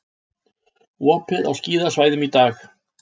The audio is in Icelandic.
Opið á skíðasvæðum í dag